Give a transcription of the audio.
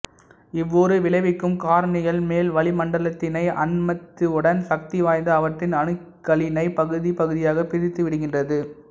இவ்வூறு விளைவிக்கும் காரணிகள் மேல் வளிமண்டலத்தினை அண்மித்தவுடன் சக்தி வாய்ந்த அவற்றின் அணுக்களினை பகுதி பகுதியாக பிரித்துவிடுகின்றது